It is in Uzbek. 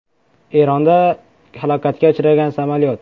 Eronda halokatga uchragan samolyot.